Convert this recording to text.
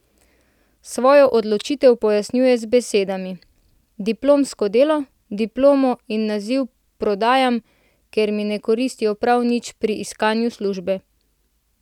Svojo odločitev pojasnjuje z besedami: 'Diplomsko delo, diplomo in naziv prodajam, ker mi ne koristijo prav nič pri iskanju službe.